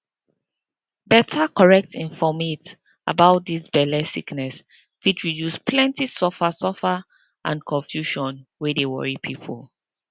better correct infomate about dis belle sickness fit reduce plenty suffer suffer and confusion wey dey worry pipo